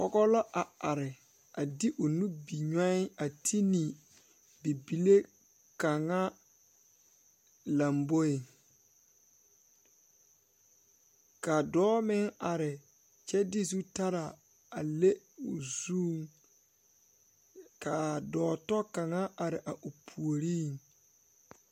pɔgɔ la a are de o nubinyɔɛ a te ne bibile kaŋa lamboeŋ ka dɔɔ meŋ are kyɛ de zu taraa a le o zuŋ kaa dɔɔ tɔ kaŋa are a o puoriŋ.